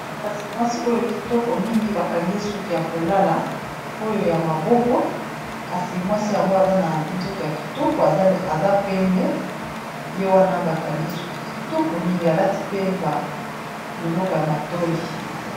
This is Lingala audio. Kasi mwasi oyo kitoko mingi ba kangi ye suki ya kolala oyo ya maboko kasi mwasi yango aza na nzoto ya kitoko aza pembe, ye wana ba kangi suki kitoko mingi alati pe ba biloko ya matoyi.